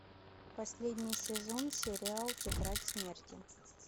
последний сезон сериал тетрадь смерти